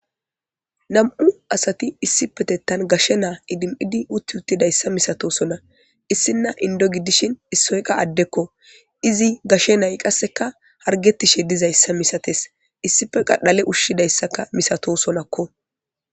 Nam'u asati issippetetan gashe na idimidi uti utidaysa misatosona issina indo gidishin issoy qa addekko izi gashe nay qaka harigetishe dizayisa misates issipe qa dhale ushishedayisaka misatosonakko.